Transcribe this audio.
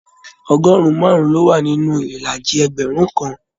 Ọgọrun márùn ló wà nínú ìlàjì ẹgbẹrun kàn.